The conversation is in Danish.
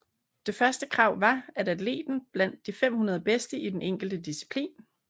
Det første krav var at atleten var blandt de 500 bedste i den enkelte disciplin